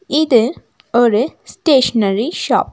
இது ஒரு stationery shop .